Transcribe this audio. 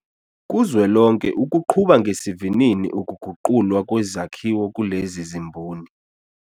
Kuzwelonke ukuqhuba ngesivinini ukuguqulwa kwezakhiwo kulezi zimboni.